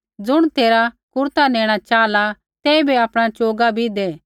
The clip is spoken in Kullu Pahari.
ज़ुण तेरा कुरता नेणा च़ाहला तेइबै आपणा च़ोगा भी दै